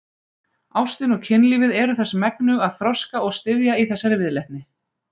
Ástin og kynlífið eru þess megnug að þroska og styðja í þessari viðleitni.